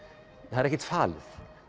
það er ekkert falið